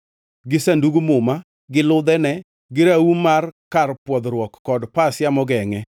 gi Sandug Muma, gi ludhene, gi raum mar kar pwodhruok kod pasia mogengʼe;